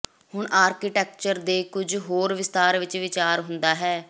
ਹੁਣ ਆਰਕੀਟੈਕਚਰ ਦੇ ਕੁਝ ਹੋਰ ਵਿਸਥਾਰ ਵਿਚ ਵਿਚਾਰ ਹੁੰਦਾ ਹੈ